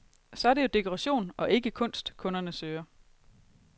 Så er det jo dekoration, og ikke kunst, kunderne søger.